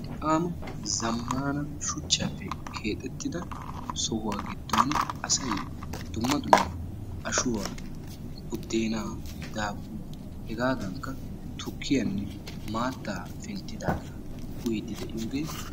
Han zammana shuchchaappe keexxettida sohuwa giddon asay dumma dumma ashuwa, buddeennaa, daabuwaa hegaadankka tukkiyanne maattaa penttidaagaa uyiydi de'iyogee beettees.